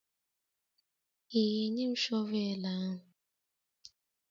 Ị ga-enye m shọvel ahụ?